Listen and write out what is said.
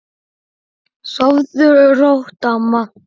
Sofðu rótt, amma.